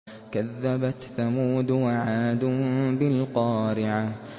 كَذَّبَتْ ثَمُودُ وَعَادٌ بِالْقَارِعَةِ